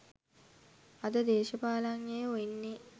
අද දේශපාලනඥයෝ එන්නේ